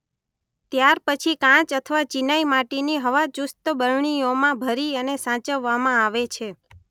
ત્યાર પછી કાચ અથવા ચીનાઇમાટીની હવાચુસ્ત બરણીઓમાં ભરી અને સાચવવામાં આવે છે.